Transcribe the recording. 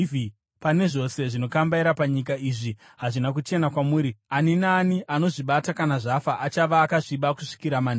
Pane zvose zvinokambaira panyika, izvi hazvina kuchena kwamuri. Asi ani naani anozvibata kana zvafa achava akasviba kusvikira manheru.